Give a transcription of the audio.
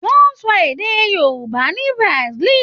Wọn ń sọ èdè Yorùbá ní Brasil